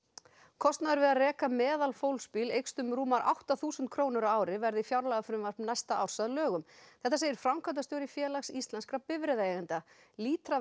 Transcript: kostnaður við að reka meðalfólksbíl eykst um rúmar átta þúsund krónur á ári verði fjárlagafrumvarp næsta árs að lögum þetta segir framkvæmdastjóri Félags íslenskra bifreiðaeigenda